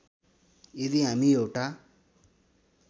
यदि हामी एउटा